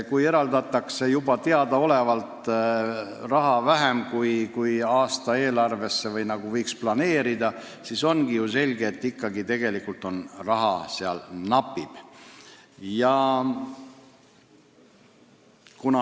Kui teadlikult eraldatakse raha vähem, kui aastaeelarve nõuaks, siis ongi selge, et tegelikult raha napib.